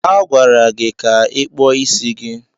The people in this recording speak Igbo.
A gwara gị ka ị kpụọ isi gị.